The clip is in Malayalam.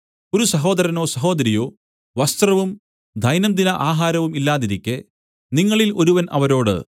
ഒരു സഹോദരനോ സഹോദരിയോ വസ്ത്രവും ദൈനംദിന ആഹാരവും ഇല്ലാതിരിക്കെ നിങ്ങളിൽ ഒരുവൻ അവരോട്